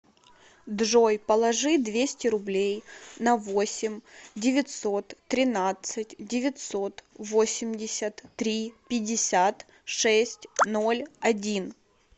джой положи двести рублей на восемь девятьсот тринадцать девятьсот восемьдесят три пятьдесят шесть ноль один